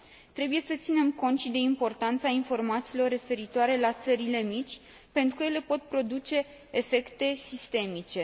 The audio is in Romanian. Trebuie să ținem cont și de importanța informațiilor referitoare la țările mici, pentru că ele pot produce efecte sistemice.